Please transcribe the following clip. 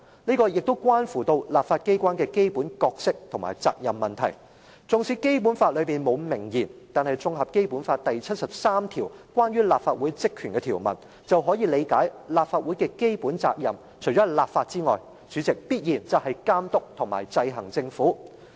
這關乎立法機關的基本角色和責任問題，縱使《基本法》裏面沒有明言，但綜合《基本法》第七十三條關於立法會職權的條文，便可以理解立法會的基本責任，除了立法外，主席，必然就是監督和制衡政府。